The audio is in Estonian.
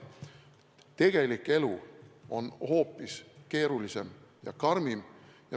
Tegelik elu on hoopis keerulisem ja karmim.